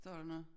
Står der noget?